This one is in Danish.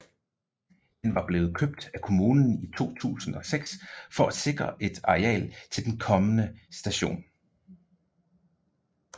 Den var blevet købt af kommunen i 2006 for at sikre et areal til den kommende station